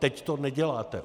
Teď to neděláte!